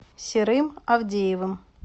серым авдеевым